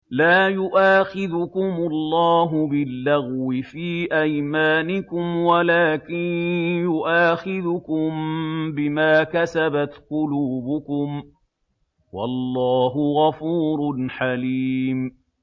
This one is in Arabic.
لَّا يُؤَاخِذُكُمُ اللَّهُ بِاللَّغْوِ فِي أَيْمَانِكُمْ وَلَٰكِن يُؤَاخِذُكُم بِمَا كَسَبَتْ قُلُوبُكُمْ ۗ وَاللَّهُ غَفُورٌ حَلِيمٌ